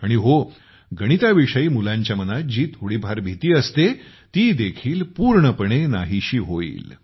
आणि हो गणिताविषयी मुलांच्या मनात जी थोडी फार भीती असते ती देखील नाहीशी होईल